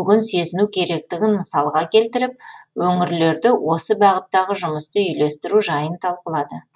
бүгін сезіну керектігін мысалға келтіріп өңірлерде осы бағыттағы жұмысты үйлестіру жайын талқылады